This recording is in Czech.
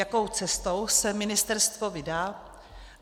Jakou cestou se ministerstvo vydá?